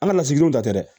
An ka lasigidenw tɛ dɛ